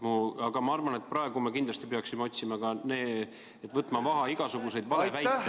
Aga ma arvan, et praegu me kindlasti peaksime võtma maha igasugused valeväited ühiskonnas ...